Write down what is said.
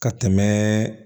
Ka tɛmɛ